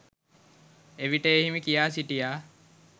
එවිට ඒ හිමි කියා සිටියා